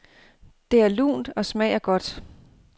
Det er lunt og smager godt.